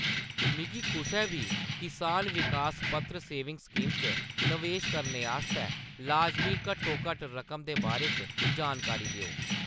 मिगी कुसै बी किसान विकास पत्र सेविंग स्कीम च नवेश करने आस्तै लाजमी घट्टोघट्ट रकम दे बारे च जानकारी देओ।